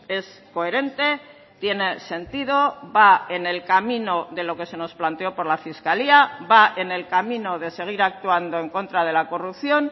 es coherente tiene sentido va en el camino de lo que se nos planteó por la fiscalía va en el camino de seguir actuando en contra de la corrupción